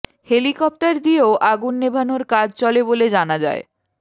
helicopter দিয়েও আগুন নেভানোর কাজ চলে বলে জানা যায়